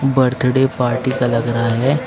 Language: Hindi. बर्थडे पार्टी का लग रहा है।